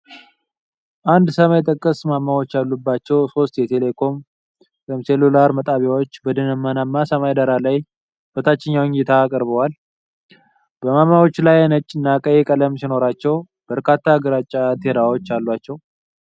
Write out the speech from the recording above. አንድ ሰማይ ጠቀስ ማማዎች ያሉባቸው ሶስት የቴሌኮም/ሴሉላር ጣቢያዎች በደመናማ ሰማይ ዳራ ላይ በታችኛ እይታ ቀርበዋል፡፡ ማማዎቹ ነጭ እና ቀይ ቀለም ሲኖራቸው፣ በርካታ ግራጫ አንቴናዎች አሏቸው፡፡